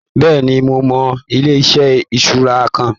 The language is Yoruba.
Bẹ́ẹ̀ni, mo mọ ilé-iṣẹ ìṣura kan.